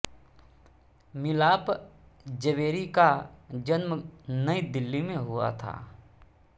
मिलाप जवेरी का जन्म नई दिल्ली में हुआ था